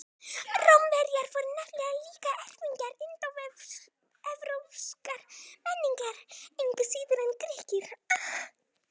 Rómverjar voru nefnilega líka erfingjar indóevrópskrar menningar, engu síður en Grikkir.